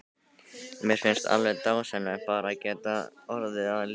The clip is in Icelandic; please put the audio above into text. Mér finnst alveg dásamlegt bara að geta orðið að liði.